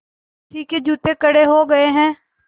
किसी के जूते कड़े हो गए हैं